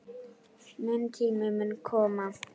Minn tími mun koma.